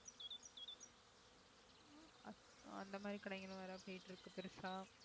அத்~ அந்த மாதிரி கடைகளும் வேற போயிட்டு இருக்கு பெருசா